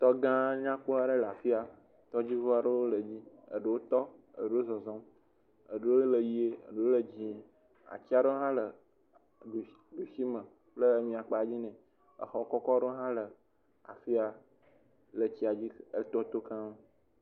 Tɔ gã aɖe nyakpɔ aɖe le afi ya, tɔdziŋuwo aɖewo le dzi, ɖewo tɔ, ɖewo zɔzɔm, eɖowo le ʋe eɖewo le dzɛ̃e , ati aɖewo hã le ɖusi me kple emia kpa dzi nɛ, exɔ kɔkɔ aɖewo hã le afi ya le tsia dzi le tɔa to keŋ.